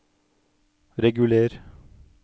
reguler